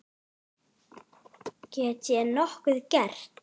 Get ég nokkuð gert?